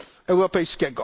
Europejskiego.